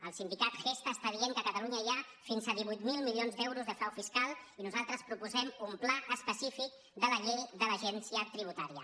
el sindicat gestha està dient que a catalunya hi ha fins a divuit mil milions d’euros de frau fiscal i nosaltres proposem un pla específic de la llei de l’agència tributària